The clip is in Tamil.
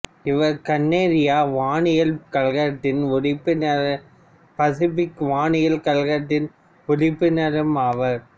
இவர் கனடிய வானியல் கழகத்தின் உறுப்பினரும் பசிபிக் வானியல் கழகத்தின் உறுப்பினரும் ஆவார்